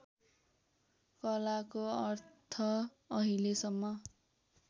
कलाको अर्थ अहिलेसम्म